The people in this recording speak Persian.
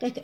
به عهد